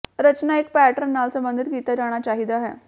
ਰਚਨਾ ਇੱਕ ਪੈਟਰਨ ਨਾਲ ਸਬੰਧਿਤ ਕੀਤਾ ਜਾਣਾ ਚਾਹੀਦਾ ਹੈ